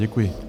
Děkuji.